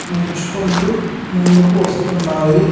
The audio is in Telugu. నడుచుకుంటూ ముందుకు వస్తున్నాయి.